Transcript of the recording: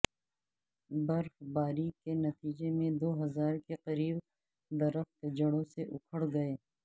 برفباری کے نتیجے میں دو ہزار کے قریب درخت جڑوں سے اکھڑ گئے